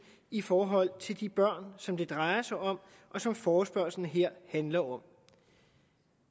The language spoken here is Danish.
i forhold til de børn som det drejer sig om og som forespørgslen her handler om